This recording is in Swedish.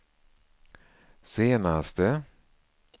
senaste